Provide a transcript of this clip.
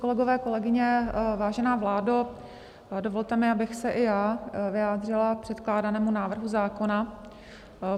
Kolegové, kolegyně, vážená vládo, dovolte mi, abych se i já vyjádřila k předkládanému návrhu zákona.